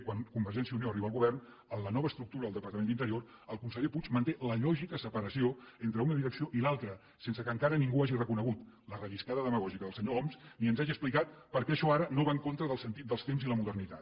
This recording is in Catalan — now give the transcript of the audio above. quan convergència i unió arriba al govern en la nova estructura del departament d’interior el conseller puig manté la lògica separació entre una direcció i l’altra sense que encara ningú hagi reconegut la relliscada demagògica del senyor homs ni ens hagi explicat per què això ara no va en contra del sentit dels temps i la modernitat